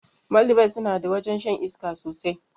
Maldives sunada wajrn shan iska sosai